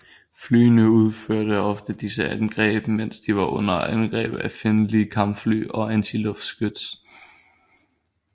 Flyene udførte ofte disse angreb mens de var under angreb af fjendtlige kampfly og antiluftskyts